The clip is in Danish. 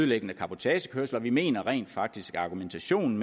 ødelæggende cabotagekørsel og vi mener rent faktisk at argumentationen